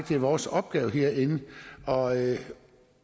det er vores opgave herinde